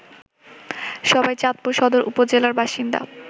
সবাই চাঁদপুর সদর উপজেলার বাসিন্দা